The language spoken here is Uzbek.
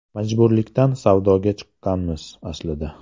Majburlikdan savdoga chiqqanmiz, aslida.